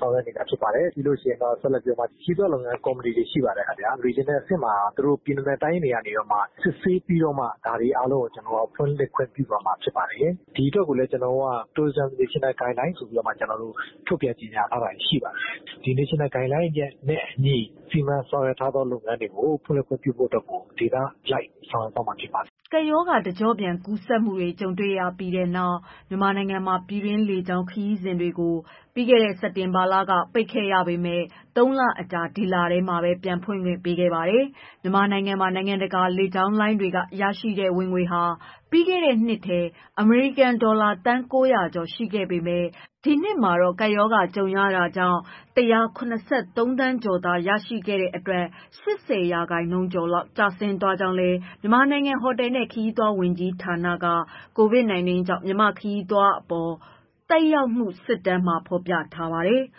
ဆောင်ရွက်နေတာ ဖြစ်ပါတယ်။ ဒီလို ခရီးသွားလုပ်ငန်ကော်မတီတွေ ရှိပါတယ် ခင်ဗျာ။ ပြည်နယ်နဲ့ တိုင်းတွေကနေပြီးတော့မှ စစ်ဆေးပြီးတော့မှ အားလုံးကို ဖွင့်လှစ်ခွင့် ပြုသွားမှာဖြစ်ပါတယ်။ ဒီအတွက်ကိုလည်း ကျနော်တို့က tourism national guidelines ဆိုပြီးတော့ ထုတ်ပြန်ကြေငြာထားတာတွေရှိပါတယ်။ ဒီ national guideline နဲ့ အညီ စီမံဆောင်ရွက်ထားသော လုပ်ငန်းတွေကို ဖွင့်လှစ်ခွင့်ပြုဖို့အတွက်ကို ဒေသအလိုက် ဆောင်ရွက်မှာ ဖြစ်ပါတယ်။" ကပ်ရောဂါ တကျော့ပြန် ကူးစက်မှုတွေ ကြုံရပြီးနောက် မြန်မာနိုင်ငံမှာ ပြည်တွင်းလေကြောင်း ခရီးစဉ်တွေကိုလည်း စက်တင်ဘာကစလို့ ပိတ်ခဲ့ရပေမဲ့ ၃ လအကြာ ဒီလထဲမှာပဲ ပြန်ဖွင့်ပေးခဲ့ပါတယ်။ မြန်မာနိုင်ငံမှာ နိုင်ငံတကာ လေကြောင်းလိုင်းတွေက ရရှိတဲ့ ဝင်ငွေဟာ ပြီးခဲ့တဲ့နှစ်ထဲ အမေရိကန်ဒေါ်လာ သန်း ၉၀၀ ကျော် ရှိခဲ့ပေမဲ့ ဒီနှစ်မှာတော့ ကပ်ရောဂါကြုံခဲ့ရတာကြောင့် ၁၇၃ သန်းကျော်သာ ရှိခဲ့တဲ့အတွက် ၈၀ ရာခိုင်နှုန်းကျော် ကျဆင်းသွားခဲ့ကြောင်းလည်း မြန်မာနိုင်ငံ ဟိုတယ်နဲ့ ခရီးသွားလုပ်ငန်း ဝန်ကြီးဌာနက COVID-19 ကြောင့် မြန်မာ့ခရီးသွားလုပ်ငန်းအပေါ် သက်ရောက်မှု စစ်တမ်းမှာ ဖော်ပြထားပါတယ်။